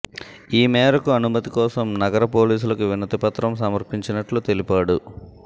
ఈ మేరకు అనుమతి కోసం నగర పోలీసులకు వినతి పత్రం సమర్పించినట్లు తెలిపాడు